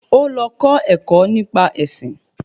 Ó lọ kọ́ ẹ̀kọ́ nípa ẹṣin